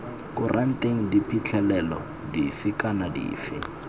kuranteng diphitlhelelo dife kana dife